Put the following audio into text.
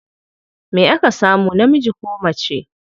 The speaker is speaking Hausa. Me aka samu, namiji ko mace?